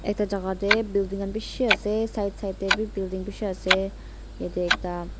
etu jaga te building khan bishi ase side side te bi building bishi ase yate ekta.